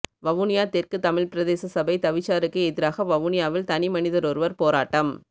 வவுனியா தெற்கு தமிழ் பிரதேச சபை தவிசாருக்கு எதிராக வவுனியாவில் தனிமனிதனொருவர் போராட்டம்